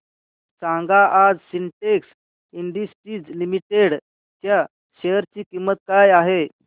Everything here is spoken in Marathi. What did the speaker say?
सांगा आज सिन्टेक्स इंडस्ट्रीज लिमिटेड च्या शेअर ची किंमत काय आहे